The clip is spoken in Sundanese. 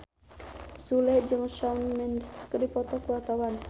Sule jeung Shawn Mendes keur dipoto ku wartawan